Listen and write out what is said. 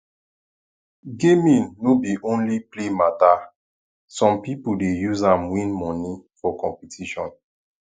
gaming no be only play matter some people dey use am win money for competition